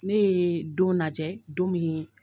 Ne ye don najɛ don min ye